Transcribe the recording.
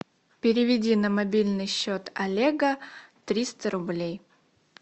переведи на мобильный счет олега триста рублей